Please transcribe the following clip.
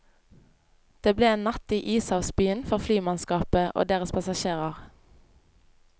Det ble en natt i ishavsbyen for flymannskapet og deres passasjerer.